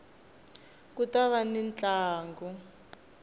ku ta va ni ntlangu